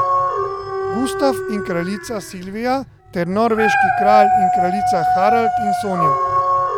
Gustaf in kraljica Silvija ter norveški kralj in kraljica, Harald in Sonja.